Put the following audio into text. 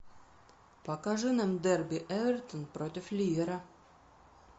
покажи нам дерби эвертон против ливера